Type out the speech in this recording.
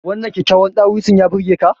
Wannan kyakkyawan dawisun ya burge ka?